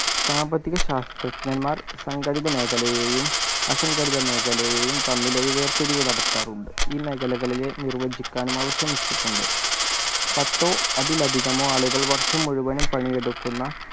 സാമ്പത്തിക ശാസ്ത്രജ്ഞന്മാർ സംഘടിത മേഖലയെയും അസംഘടിത മേഖലയെയും തമ്മിൽ ഒരു വേർതിരിവ് നടത്താറുണ്ട് ഈ മേഖലകളിലെ നിർവചിക്കാനും അവർ ശ്രമിച്ചിട്ടുണ്ട് പത്തോ അതിലധികമോ ആളുകൾ വർഷം മുഴുവനും പണി എടുക്കുന്ന